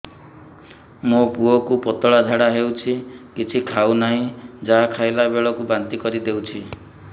ମୋ ପୁଅ କୁ ପତଳା ଝାଡ଼ା ହେଉଛି କିଛି ଖାଉ ନାହିଁ ଯାହା ଖାଇଲାବେଳକୁ ବାନ୍ତି କରି ଦେଉଛି